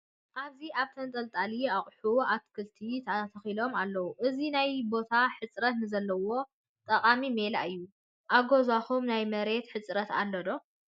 ኣብዚ ኣብ ተንጠልጣሊ ኣቑሑ ኣትክልትታት ተተኺሎም ኣለዉ፡፡ እዚ ናይ ቦታ ሕፅረት ንዘለዎም ጠቓሚ ሜላ እዩ፡፡ ኣብ ገዛኹም ናይ መሬት ሕፅረት ኣሎ ዶ?